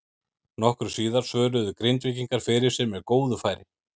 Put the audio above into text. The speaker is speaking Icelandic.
Nokkru síðar svöruðu Grindvíkingar fyrir sig með góðu færi.